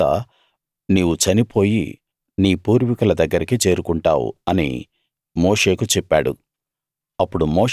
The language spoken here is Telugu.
ఆ తరవాత నీవు చనిపోయి నీ పూర్వీకుల దగ్గరికి చేరుకుంటావు అని మోషేకు చెప్పాడు